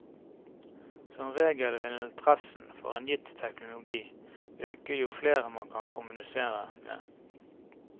Som regel vil interessen for en gitt teknologi øke jo flere man kan kommunisere med.